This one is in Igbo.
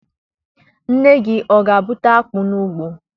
Nne gị ọ ga-abụta akpụ n'ugbo?